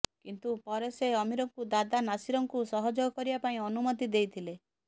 କିନ୍ତୁ ପରେ ସେ ଅମିରଙ୍କୁ ଦାଦା ନାସିରଙ୍କୁ ସହେଯାଗ କରିବା ପାଇଁ ଅନୁମତି ଦେଇଥିଲେ